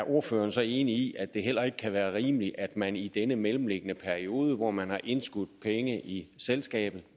ordføreren så er enig i at det heller ikke kan være rimeligt at man i den mellemliggende periode hvor man har indskudt penge i selskabet